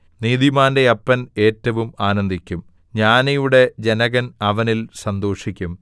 നീതിമാന്റെ അപ്പൻ ഏറ്റവും ആനന്ദിക്കും ജ്ഞാനിയുടെ ജനകൻ അവനിൽ സന്തോഷിക്കും